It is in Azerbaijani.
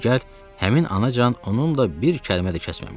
Digər həmin anacan onunla bir kəlmə də kəsməmişdim.